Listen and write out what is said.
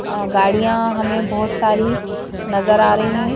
अअ गाड़ियां हमें बहोत सारी नजर आ रही हैं.